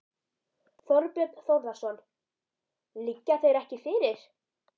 Þorbjörn Þórðarson: Liggja þeir ekki fyrir?